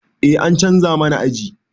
Eh an canza mana aji